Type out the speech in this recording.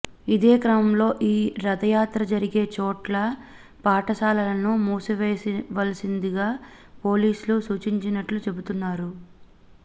ఇదే క్రమంలో ఈ రథయాత్ర జరిగే చోట్ల పాఠశాలలను మూసివేయవలసిందిగా పోలీస్లు సూచించినట్లు చెబుతున్నారు